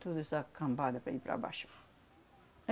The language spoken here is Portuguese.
Tudo essa cambada para aí para baixo.